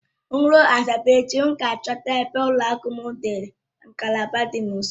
M jeruo Asaba echi, aga m achọta ebe ụlọakụ m nwere ngalaba dị m nso